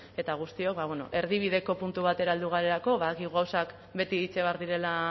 eta guztiok ba bueno erdibideko puntu batera heldu garelako badakit gauzak beti itxi behar direla